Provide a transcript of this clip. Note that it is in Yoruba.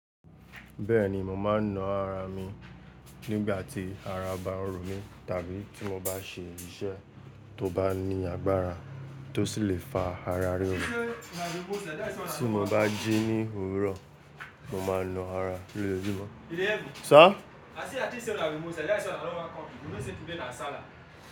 Bẹ́ẹ̀ni, mo máa ń na ara mi nígbà tí ara ba ń ro mí tàbí tí mo bá ṣe iṣẹ́ tó bá ní agbára tó sì le fa ara ríro Tí mo bá jí ní òwúrọ̀, mo máa na ara lójojumọ́.